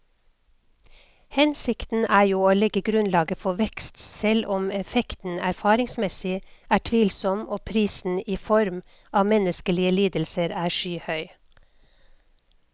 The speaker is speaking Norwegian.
Hensikten er jo å legge grunnlaget for vekst, selv om effekten erfaringsmessig er tvilsom og prisen i form av menneskelige lidelser er skyhøy.